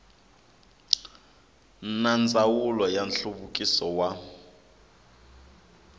na ndzawulo ya nhluvukiso wa